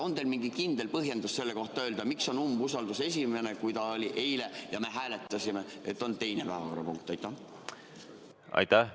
On teil mingi kindel põhjendus selle kohta, miks on umbusaldus täna esimene, kuigi eile oli see – ja me hääletasime seda – teine päevakorrapunkt?